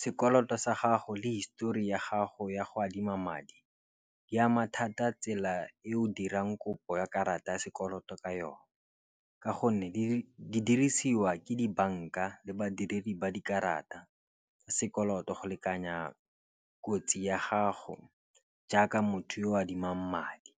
Sekoloto sa gago le histori ya gago ya go adima madi di ama thata tsela e o dirang kopo ya karata ya sekoloto ka yone. Ka gonne di dirisiwa ke dibanka le badiredi ba dikarata, sekoloto go lekanya kotsi ya gago jaaka motho yo o adimang madi.